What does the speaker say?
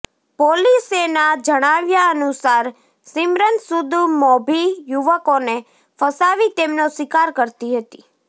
પોલીસેના જણાવ્યા અનુસાર સિમરન સૂદ મોભી યુવકોને ફસાવી તેમનો શિકાર કરતી હતી